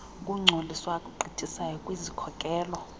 okungcoliswa agqithisayo kwizikhokelo